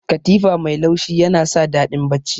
Katifa mai laushi yana sa daɗin bacci.